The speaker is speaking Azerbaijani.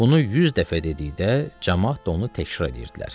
Bunu 100 dəfə dedikdə camaat da onu təkrar eləyirdilər.